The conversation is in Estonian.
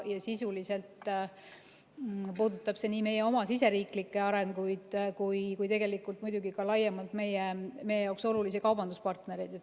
Sisuliselt puudutab see nii meie oma siseriiklikke arenguid kui tegelikult muidugi ka laiemalt meie olulisi kaubanduspartnereid.